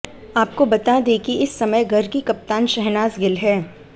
आपको बता दें कि इस समय घर की कप्तान शहनाज गिल है